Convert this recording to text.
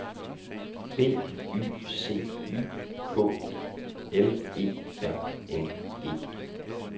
B Y C Y K L E R N E